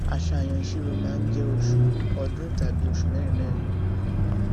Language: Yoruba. àṣàyàn ìṣirò máa ń jẹ oṣù ọdún tàbí osù mẹrinmẹrin